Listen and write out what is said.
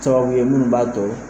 Sabuɔ b minnu b'a jɔ